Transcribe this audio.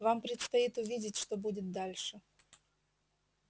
вам предстоит увидеть что будет дальше